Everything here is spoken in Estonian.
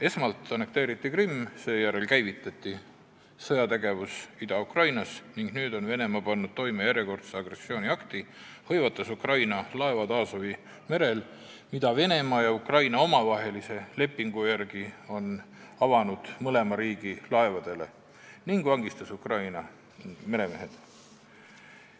Esmalt annekteeriti Krimm, seejärel käivitati sõjategevus Ida-Ukrainas ning nüüd on Venemaa pannud toime järjekordse agressiooniakti, hõivates Ukraina laevad Aasovi merel, mille Venemaa ja Ukraina on omavahelise lepingu järgi avanud mõlema riigi laevadele, ning vangistades Ukraina meremehed.